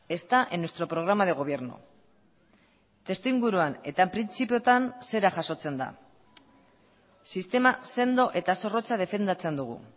está en nuestro programa de gobierno testuinguruan eta printzipioetan zera jasotzen da sistema sendo eta zorrotza defendatzen dugu